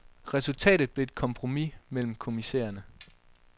Resultatet blev et kompromis mellem kommissærerne.